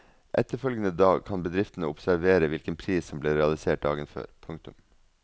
Etterfølgende dag kan bedriftene observere hvilken pris som ble realisert dagen før. punktum